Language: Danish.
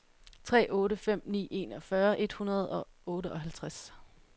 tre otte fem ni enogfyrre et hundrede og otteoghalvfems